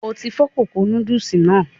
O ti fọ kókó núdùlsì náà.